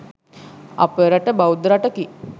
අපේ රට බෞද්ධ රටකි